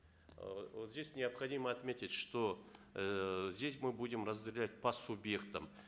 э вот здесь необходимо отметить что эээ здесь мы будем разделять по субъектам